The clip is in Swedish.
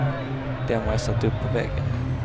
Dem har jag satt upp på väggen.